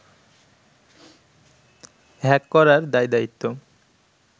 hack করার দায়-দায়িত্ব